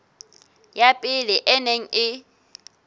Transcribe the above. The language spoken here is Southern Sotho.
ya pele e neng e